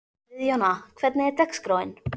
Friðjóna, hvernig er dagskráin?